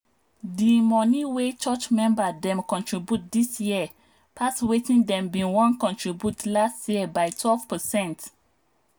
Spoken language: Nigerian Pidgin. the money wey church member dem contribute this year pass wetin dem been wan contribute last year by 12%